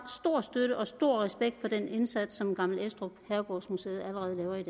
støtte og stor respekt for den indsats som gammel estrup herregårdsmuseet allerede laver i